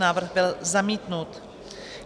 Návrh byl zamítnut.